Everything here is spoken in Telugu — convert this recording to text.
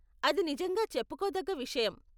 అది నిజంగా చెప్పుకోతగ్గ విషయం.